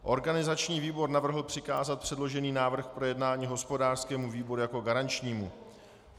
Organizační výbor navrhl přikázat předložený návrh k projednání hospodářskému výboru jako garančnímu.